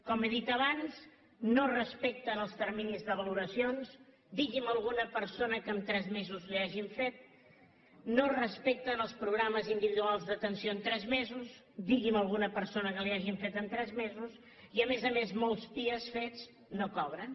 com he dit abans no respecten els terminis de valoracions digui’m alguna persona que en tres mesos la hi hagin fet no respecten els programes individuals d’atenció en tres mesos digui’m alguna persona que l’hi hagin fet en tres mesos i a més a més molts pia fets no cobren